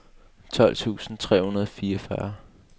tolv tusind tre hundrede og fireogfyrre